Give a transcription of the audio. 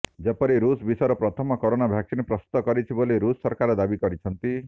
ଯେପରି ରୁଷ୍ ବିଶ୍ୱର ପ୍ରଥମ କରୋନା ଭ୍ୟାକସିନ୍ ପ୍ରସ୍ତୁତ କରିଛି ବୋଲି ରୁଷ୍ ସରକାର ଦାବି କରିଛନ୍ତି